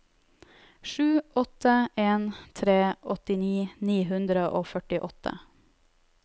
sju åtte en tre åttini ni hundre og førtiåtte